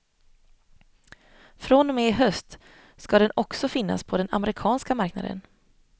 Från och med i höst skall den också finnas på den amerikanska marknaden.